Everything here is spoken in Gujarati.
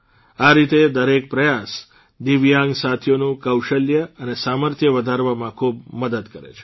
આ રીતે દરેક પ્રયાસ દિવ્યાંગ સાથીઓનું કૌશલ્ય અને સામર્થ્ય વધારવામાં ખૂબ મદદ કરે છે